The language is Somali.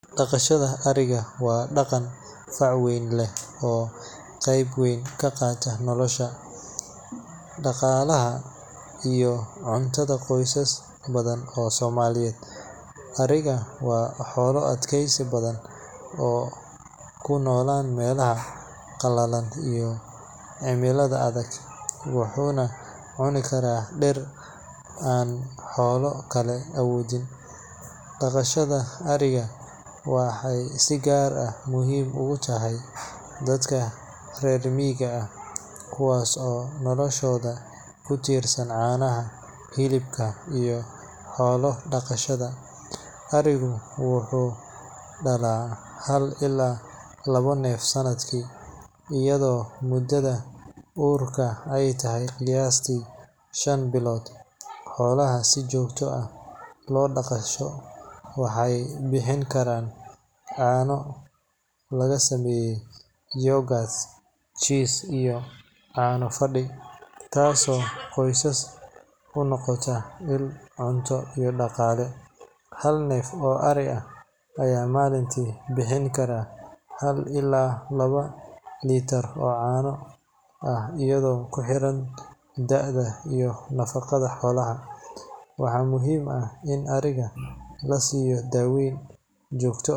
Daqashada ariga waa dhaqan fac weyn leh oo qayb weyn ka qaata nolosha, dhaqaalaha, iyo cuntada qoysas badan oo Soomaaliyeed. Arigu waa xoolo adkaysi badan oo ku nool meelaha qalalan iyo cimilada adag, wuxuuna cuni karaa dhir aan xoolo kale awoodin. Daqashada ariga waxay si gaar ah muhiim ugu tahay dadka reer miyiga ah, kuwaas oo noloshooda ku tiirsan caanaha, hilibka, iyo xoolo dhaqashada. Arigu wuxuu dhalaa hal ilaa labo neef sanadkii, iyadoo muddada uurka ay tahay qiyaastii shan bilood. Xoolaha si joogto ah loo daqasho waxay bixin karaan caano laga sameeyo yogurt, cheese, iyo caano fadhi, taasoo qoysaska u noqota il cunto iyo dhaqaale. Hal neef oo ari ah ayaa maalintii bixin kara hal ilaa laba litir oo caano ah iyadoo ku xiran da'da iyo nafaqada xoolaha. Waxaa muhiim ah in ariga la siiyo daaweyn joogto.